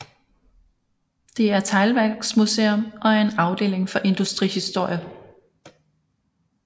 Det er teglværksmuseum og er en afdeling for industrihistorie